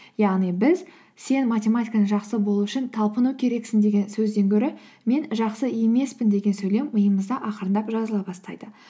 яғни біз сен математиканы жақсы болу үшін талпыну керексің деген сөзден гөрі мен жақсы емеспін деген сөйлем миымызда ақырындап жазыла бастайды